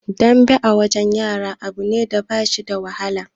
Dambe a wajen yara abu ne da ba shi da wahala